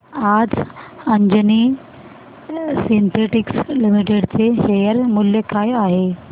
आज Anjani synthetics limited चे share मूल्य काय आहे